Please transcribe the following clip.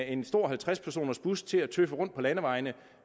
en stor halvtreds personers bus til at tøffe rundt på landevejene